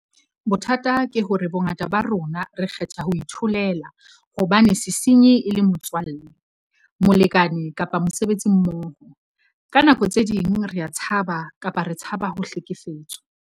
Bothata ke hore bongata ba rona re kgetha ho itholela hobane sesenyi e le motswalle, molekane kapa mosebetsimmoho. Ka nako tse ding rea tshaba kapa re tshaba ho hlekefetswa.